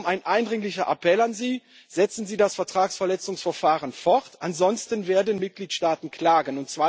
Darum ein eindringlicher Appell an Sie Setzen Sie das Vertragsverletzungsverfahren fort, ansonsten werden Mitgliedstaaten klagen.